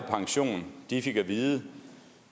de fik at vide at